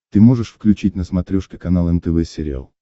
ты можешь включить на смотрешке канал нтв сериал